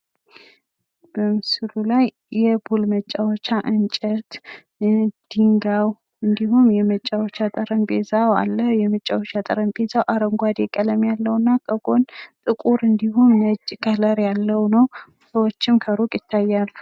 በምስሉ ላይ የፑል መጫዎቻ እንጨት ፣ ደንጊያው እንዲሁም የመጫወቻ ጠረንጴዛው አለ። የመጫወቻ ጠረንጴዛው አረንጓዴ ቀለም ያለው እና በጎን ጥቁር እንዲሁም ነጭ ቀለም ያለው ነው። ሰወችም ከሩቅ ይታያሉ